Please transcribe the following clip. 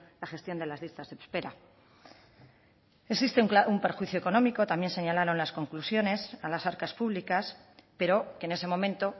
la gestión de las listas de espera existe un perjuicio económico también señalaron las conclusiones a las arcas públicas pero que en ese momento